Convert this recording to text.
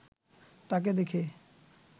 তাঁকে দেখে